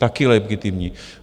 Taky legitimní.